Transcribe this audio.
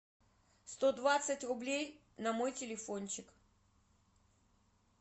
сто двадцать рублей на мой телефончик